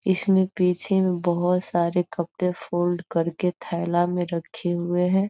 इसमें पीछे बहोत सारे कपड़े फोल्ड करके थैला में रखे हुवे हैं |